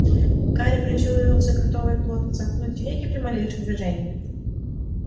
гарри прищурился готовый плотно сомкнуть веки при малейшем движении